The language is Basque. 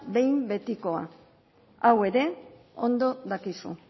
behinbetikoa hau ere ondo dakizu